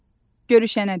Görüşənədək.